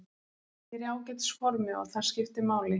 Ég er í ágætis formi og það skiptir máli.